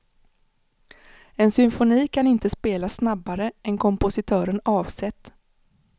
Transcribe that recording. En symfoni kan inte spelas snabbare än kompositören avsett.